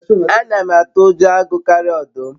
ana m atu ujo agu karia odum